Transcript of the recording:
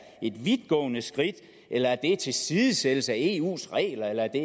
et vidtgående skridt eller en tilsidesættelse af eu regler eller at det